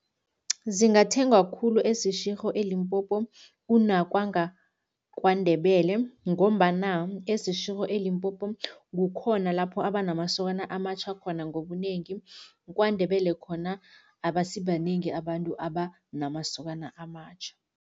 Zingathengwa khulu eSeshego eLimpopo kunakwangaKwaNdebele ngombana eSeshego eLimpopo kukhona lapho abanamasokana amatjha khona ngobunengi, kwaNdebele khona abasibanengi abantu abanamasokana amatjha.